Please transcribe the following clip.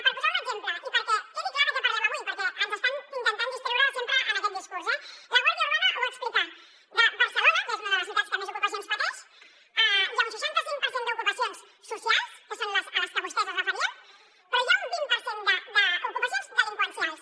per posar un exemple i perquè quedi clar de què parlem avui perquè ens estan intentant distreure sempre en aquest discurs eh la guàrdia urbana ho va explicar a barcelona que és una de les ciutats que més ocupacions pateix hi ha un seixanta cinc per cent d’ocupacions socials que són a les que vostès es referien però hi ha un vint per cent d’ocupacions delinqüencials